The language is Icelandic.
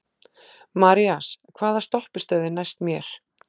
Marías, hvaða stoppistöð er næst mér?